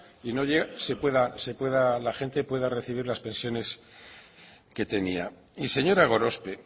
y no llega la gente pueda recibir las pensiones que tenía y señora gorospe